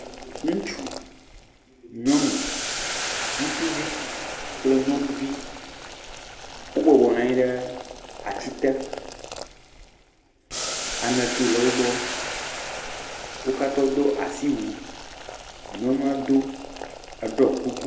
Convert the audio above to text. ŋutsu nyɔnu ŋutsuvi kple nyɔnuvi wó bɔbɔ nɔnyi ɖe atsi te aŋeto le wógbɔ wókatã wodó asiwu nyɔnuɔ do eɖɔ kuku